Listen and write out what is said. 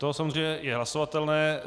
To samozřejmě je hlasovatelné.